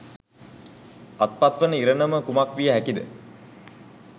අත්පත්වන ඉරණම කුමක් විය හැකිද?